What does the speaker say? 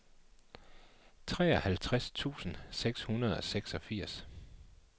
treoghalvtreds tusind seks hundrede og seksogfirs